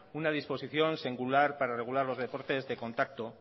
una disposición singular para regular los deportes de contacto